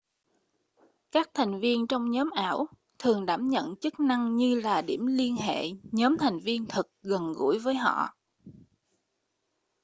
các thành viên trong nhóm ảo thường đảm nhận chức năng như là điểm liên hệ nhóm thành viên thực gần gũi với họ